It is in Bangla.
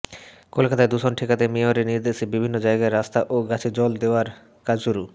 কলকাতায় দূষণ ঠেকাতে মেয়রের নির্দেশে বিভিন্ন জায়গায় রাস্তা ও গাছে জল দেওয়ার কাজ শুরু